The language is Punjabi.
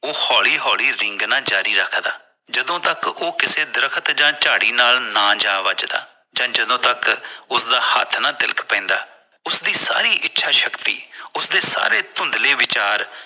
ਉਹ ਹੋਲੀ ਹੋਲੀ ਰੀਂਗਦਾ ਜ਼ਾਰੀ ਰੱਖਦਾ ਜਦੋਂ ਤਕ ਉਹ ਕਿਸੇ ਦਰੱਖਤ ਜਾਂ ਝਾੜੀ ਨਾਲ ਨਾ ਜਾ ਵੱਜਦਾ ਜਾਂ ਜਦੋਂ ਤੱਕ ਉਸਦਾ ਹੱਥ ਨਾ ਤਿਲਕ ਪੈਂਦਾ ਉਸਦੀ ਸਾਰੀ ਇੱਛਾ ਸ਼ਕਤੀ ਉਸਦੇ ਸਾਰੇ ਧੁੰਦਲੇ ਵਿਚਾਰ